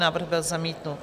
Návrh byl zamítnut.